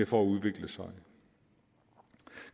for at udvikle sig